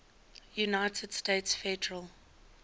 united states federal